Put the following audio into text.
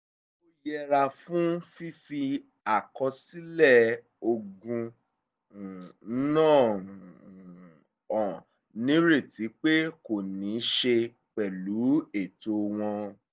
ó yẹra fún fífi àkọsílẹ̀ ogún um náà um hàn nírètí pé kò ní í ṣe pẹ̀lú ètò wọn